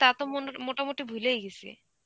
তা তো মন~ মোটামুটি ভুলেই গেছি.